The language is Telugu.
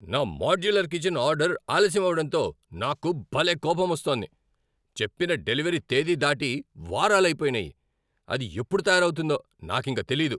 నా మాడ్యులర్ కిచెన్ ఆర్డర్ ఆలస్యం అవడంతో నాకు భలే కోపమొస్తోంది. చెప్పిన డెలివరీ తేదీ దాటి వారాలు అయిపోయినాయి, అది ఎప్పుడు తయారవుతుందో నాకింకా తెలియదు.